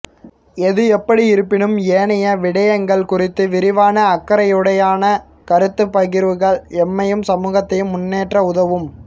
எது எப்படியிருப்பினும் ஏனைய விடயங்கள் குறித்து விரிவான அக்கறையுடனான கருத்துப் பகிர்வுகள் எம்மையும் சமூகத்தையும் முன்னேற்ற உதவும்